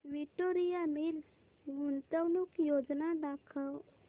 Victoria Mills गुंतवणूक योजना दाखव